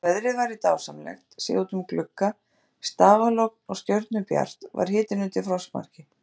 Þótt veðrið væri dásamlegt, séð út um glugga, stafalogn og stjörnubjart, var hitinn undir frostmarki.